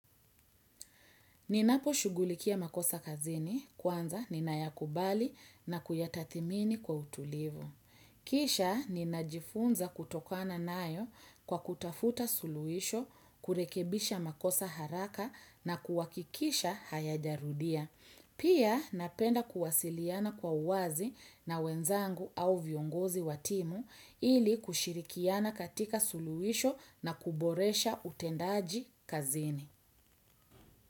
Ninaposhugulikia makosa kazini kwanza ninayakubali na kuyatathimini kwa utulivu. Kisha ninajifunza kutokana nayo kwa kutafuta suluhisho, kurekebisha makosa haraka na kuhakikisha hayajarudia. Pia napenda kuwasiliana kwa uwazi na wenzangu au viongozi wa timu ili kushirikiana katika suluhisho na kuboresha utendaji kazini.